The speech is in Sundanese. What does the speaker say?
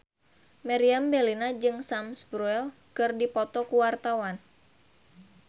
Meriam Bellina jeung Sam Spruell keur dipoto ku wartawan